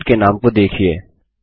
field के नाम को देखिये